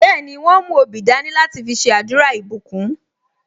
Bẹẹni, wọn mú obì dání láti fi ṣe àdúrà ìbùkún